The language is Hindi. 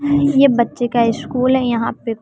ये बच्चे का स्कूल है यहां पे।